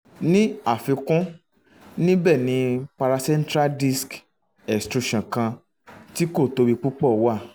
ni afikun nibẹ ni paracentral disc extrusion kan tí kò tóbi púpọ̀ wà